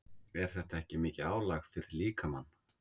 Er þetta ekki mikið álag fyrir líkamann?